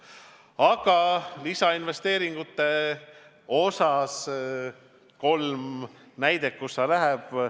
Nüüd, lisainvesteeringute kohta kolm näidet, kuhu see raha läheb.